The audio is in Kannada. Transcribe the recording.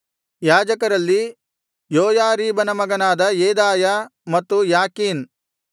ಯಾಜಕರಲ್ಲಿ ಯೋಯಾರೀಬನ ಮಗನಾದ ಯೆದಾಯ ಮತ್ತು ಯಾಕೀನ್